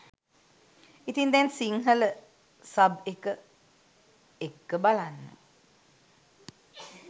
ඉතින් දැන් සිංහල සබ් එක එක්ක බලන්න